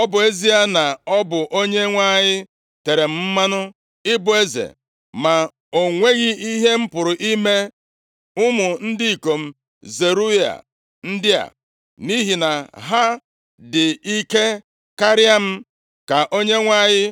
Ọ bụ ezie na m bụ onye Onyenwe anyị tere mmanụ ịbụ eze, ma o nweghị ihe m pụrụ ime ụmụ ndị ikom Zeruaya ndị a, nʼihi na ha dị ike karịa m. Ka Onyenwe anyị